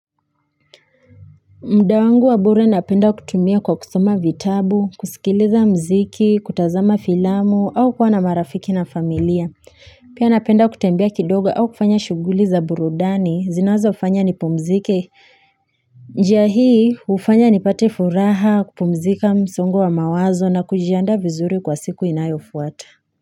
Mda wangu wa bure napenda kutumia kwa kusoma vitabu, kusikiliza mziki, kutazama filamu, au kwa na marafiki na familia. Pia napenda kutembea kidogo au kufanya shuguli za burudani, zinazo fanya nipumzike. Njia hii hufanya nipate furaha, kupumzika msungo wa mawazo na kujiandaa vizuri kwa siku inayo fuata.